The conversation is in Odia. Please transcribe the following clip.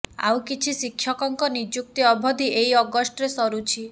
ଆଉ କିଛି ଶିକ୍ଷକଙ୍କ ନିଯୁକ୍ତି ଅବଧି ଏଇ ଅଗଷ୍ଟରେ ସରୁଛି